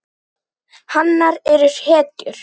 Hanar eru hetjur.